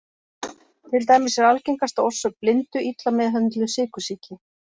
Til dæmis er algengasta orsök blindu illa meðhöndluð sykursýki.